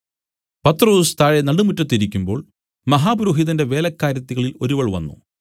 പത്രൊസ് താഴെ നടുമുറ്റത്ത് ഇരിക്കുമ്പോൾ മഹാപുരോഹിതന്റെ വേലക്കാരത്തികളിൽ ഒരുവൾ വന്നു